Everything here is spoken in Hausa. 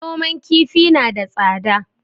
Noman kifi na da tsada